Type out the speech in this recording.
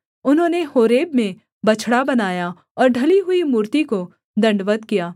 उन्होंने होरेब में बछड़ा बनाया और ढली हुई मूर्ति को दण्डवत् किया